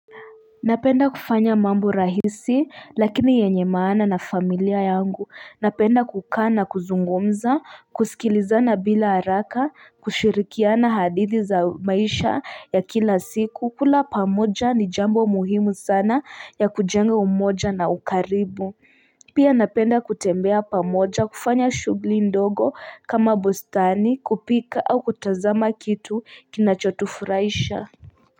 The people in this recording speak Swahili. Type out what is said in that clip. Napenda kufanya mambo rahisi lakini yenye maana na familia yangu napenda kukana kuzungumza kusikilizana bila haraka kushirikiana hadithi za maisha ya kila siku kula pamoja ni jambo muhimu sana ya kujenga umoja na ukaribu pia napenda kutembea pamoja kufanya shughuli ndogo kama bostani kupika au kutazama kitu kinachotufuraisha.